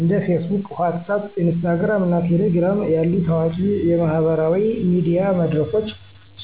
እንደ Facebook፣ WhatsApp፣ Instagram እና Telegram ያሉ ታዋቂ የማህበራዊ ሚዲያ መድረኮች